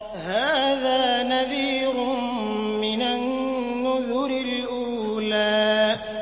هَٰذَا نَذِيرٌ مِّنَ النُّذُرِ الْأُولَىٰ